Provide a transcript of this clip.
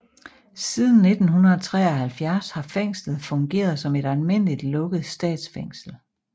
Siden 1973 har fængslet fungeret som et almindeligt lukket statsfængsel